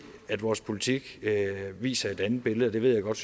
at vores politik viser et andet billede det ved jeg godt